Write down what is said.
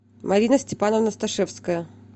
марина степановна сташевская